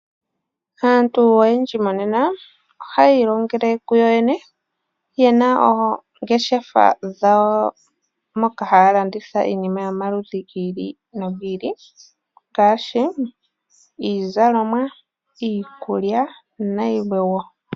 Aantu oyendji monena ohaya ilongele kuyoyene, yena oongeshefa dhawo moka haya landitha iinima yomaludhi giili nogi ili, ngaashi iizalomwa, iikulya nayilwe wo.